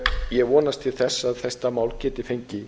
ég vonast til þess að þetta mál geti fengið